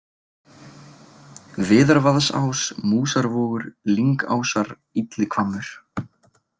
Viðarvaðsás, Músarvogur, Lyngásar, Illihvammur